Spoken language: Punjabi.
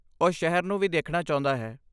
ਉਹ ਸ਼ਹਿਰ ਨੂੰ ਵੀ ਦੇਖਣਾ ਚਾਹੁੰਦਾ ਹੈ।